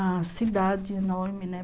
A cidade enorme, né?